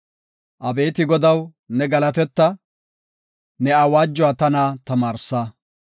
Abeeti Godaw, ne galateta; ne awaajuwa tana tamaarsa.